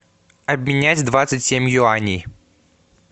обменять двадцать семь юаней